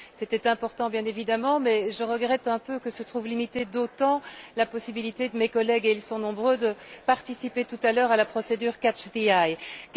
C'était important, bien évidemment, mais je regrette un peu que se trouve limitée d'autant la possibilité de mes collègues et ils sont nombreux de participer tout à l'heure à la procédure Interventions à la demande.